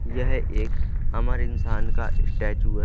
यह एक अमर इंसान का स्टैचू है।